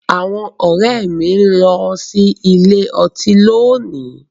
Àwọn ọ̀rẹ́ mi ló ń lọ sí ilé ọtí lónìí.